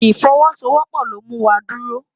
Ifòwòsówòpò ló mú wá dúró